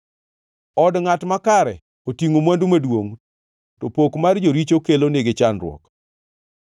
Od ngʼat makare otingʼo mwandu maduongʼ, to pok mar joricho kelo nigi chandruok.